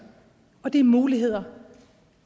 og det er muligheder